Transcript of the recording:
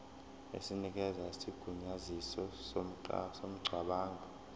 esinikeza isigunyaziso somngcwabo